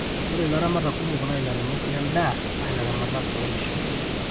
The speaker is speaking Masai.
ore laramatak kumok naa ilairemok le n'daa naa ilaramatak loo nkishu